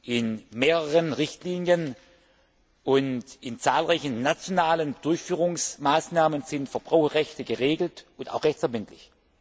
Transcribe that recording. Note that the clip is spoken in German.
In mehreren Richtlinien und in zahlreichen nationalen Durchführungsmaßnahmen sind Verbraucherrechte geregelt und auch rechtsverbindlich.